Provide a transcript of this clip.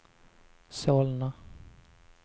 Solna